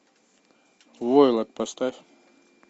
войлок поставь